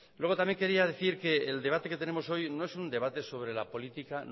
luego también quería decir que el debate que tenemos hoy no es un debate sobre la política